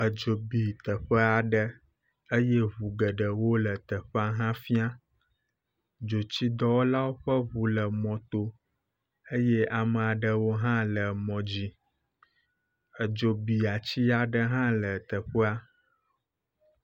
Edzo bi teƒea ɖe eye eŋu geɖewo le teƒea hã fia. Dzotsidɔwɔlawo ƒe ŋu le mɔto eye amea ɖewo hã le mɔ dzi, Edzi bi atia ɖe hã le teƒea.